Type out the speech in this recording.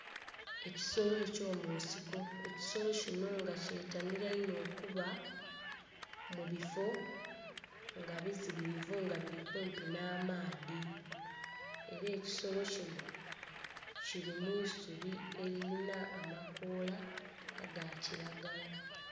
Ekisolo eky'omunsiko, ekisolo kinho nga kyetanhila inho okuba mu bifo nga bizibilivu nga bili kumpi nh'amaadhi. Era ekisolo kinho kili mu isubi elilina amakoola aga kilagala.